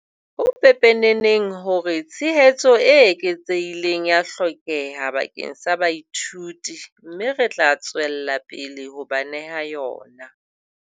Ho pepeneneng hore tshehetso e eketsehileng ea hlokeha bakeng sa baithuti mme re tla tswella pele ho ba neha yona.